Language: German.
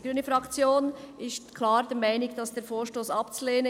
Die grüne Fraktion ist klar der Meinung, der Vorstoss sei abzulehnen.